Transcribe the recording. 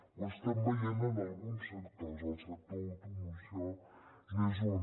ho estem veient en alguns sectors el sector de l’automoció n’és un